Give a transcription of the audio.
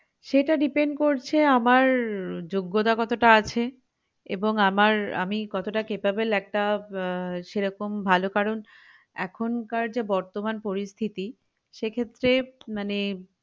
সেটা depend করছে আমার উহ যোগ্যতা কতটা আছে এবং আমার আমি কতটা capable একটা আহ সেরকম ভালো কারণ এখনকার যা বর্তমান পরিস্থিতি সেক্ষেত্রে মানে